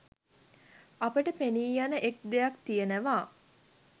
අපට පෙනීයන එක් දෙයක් තියෙනවා.